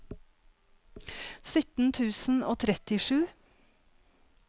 sytten tusen og trettisju